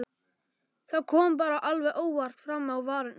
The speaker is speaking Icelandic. Það kom bara alveg óvart fram á varirnar.